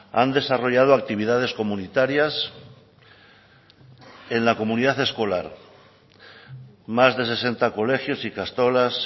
han desarrollado actividades comunitarias en la comunidad escolar más de sesenta colegios ikastolas